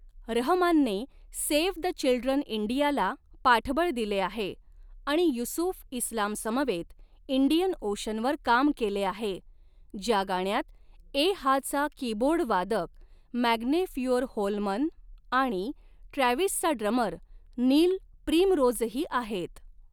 रहमानने 'save the children India' ला पाठबळ दिले आहे आणि युसूफ इस्लामसमवेत 'इंडियन ओशन' वर काम केले आहे, ज्या गाण्यात 'ए हा'चा कीबोर्डवादक मॅग्ने फ्युअरहोल्मन आणि 'ट्रॅव्हीस'चा ड्रमर नील प्रिमरोजही आहेत.